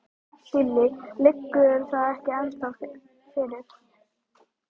Lillý: Liggur það ekki ennþá fyrir?